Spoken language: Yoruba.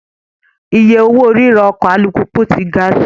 Iye owó ríra ọkọ̀ alùpùpù tí ga sí i.